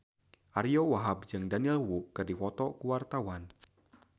Ariyo Wahab jeung Daniel Wu keur dipoto ku wartawan